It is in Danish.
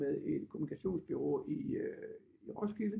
Med et kommunikationsbureau i Roskilde